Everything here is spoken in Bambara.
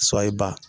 Sɔ ye ba